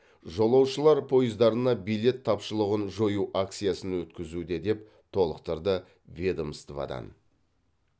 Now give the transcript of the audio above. жолаушылар пойыздарына билет тапшылығын жою акциясын өткізуде деп толықтырды ведомстводан